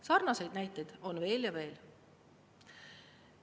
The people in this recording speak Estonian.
Sarnaseid näiteid on veel ja veel.